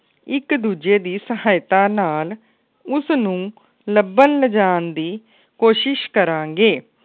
ਇੱਕ ਦੂਜੇ ਦੀ ਸਹਾਇਤਾ ਨਾਲ ਉਸ ਨੂੰ ਲੱਭਣ ਲਿਜਾਣ ਦੀ ਕੋਸ਼ਿਸ਼ ਕਰਾ ਗੇ।